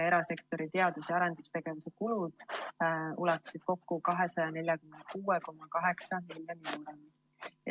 Erasektori teadus‑ ja arendustegevuse kulud ulatusid kokku 246,8 miljoni euroni.